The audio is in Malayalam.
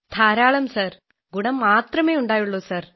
ധാരാളം സാർ ഗുണം മാത്രമെ ഉണ്ടായുള്ളൂ സാർ